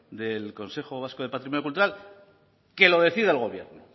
del consejo vasco de patrimonio cultural que lo decida el gobierno